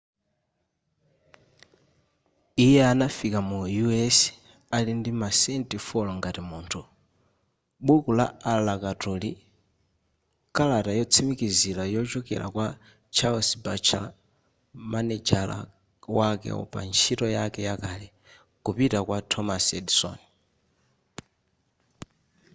iye anafika mu us ali ndi masenti 4 ngati munthu buku la alakatuli kalata yotsimikizira yochokera kwa charles batchelor manejala wake pantchito yake yakale kupita kwa thomas edison